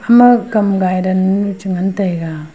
hamma kam gai dann che ngan taega.